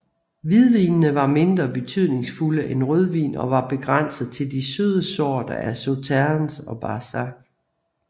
Hvidvinene var mindre betydningsfulde end rødvin og var begrænset til de søde sorter af Sauternes og Barsac